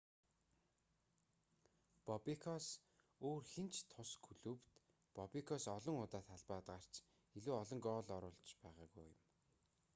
бобекоос өөр хэн ч тус клубт бобекоос олон удаа талбайд гарч илүү олон гоол оруулж байгаагүй юм